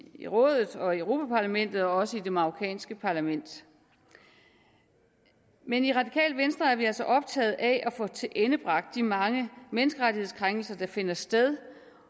i rådet og europa parlamentet og også i det marokkanske parlament men i radikale venstre er vi altså optaget af at få tilendebragt de mange menneskerettighedskrænkelser der finder sted